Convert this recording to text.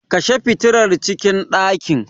Kashe fitilar cikin ɗakin.